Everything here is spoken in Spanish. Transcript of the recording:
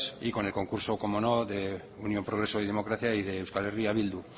y con el concurso como de unión progreso y democracia y de euskal herria bildu